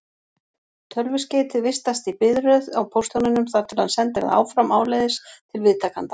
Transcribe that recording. Tölvuskeytið vistast í biðröð á póstþjóninum þar til hann sendir það áfram áleiðis til viðtakanda.